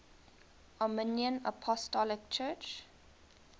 armenian apostolic church